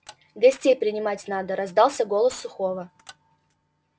гостей принимать надо раздался голос сухого